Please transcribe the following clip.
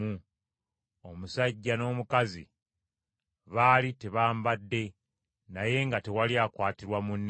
Omusajja n’omukazi baali tebambadde, naye nga tewali akwatirwa munne nsonyi.